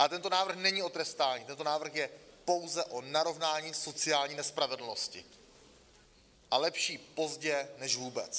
Ale tento návrh není o trestání, tento návrh je pouze o narovnání sociální nespravedlnosti, a lepší pozdě než vůbec.